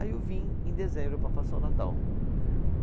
Aí eu vim em dezembro para passar o Natal.